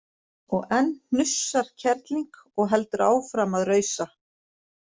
Og enn hnussar kerling og heldur áfram að rausa